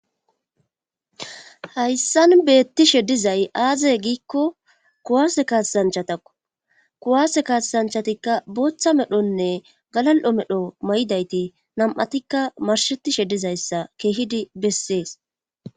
Hayssan beettishe dizay aaze giikko kuwaase kaatasanchatakko kuwaase kaaasanchatikka booththa medhonne galal7o medho may7idayti nam7atikka marshetishe dizayssa keehidi bessees.